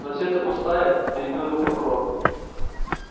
но всё это пустая перебил его прокурор